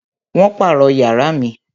Wón pàrọ̀ yàrá mi